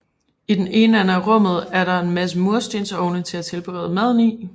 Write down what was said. I den ene ende af rummet er der en masse murstensovne til at tilberede maden i